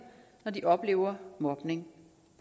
når de oplever mobning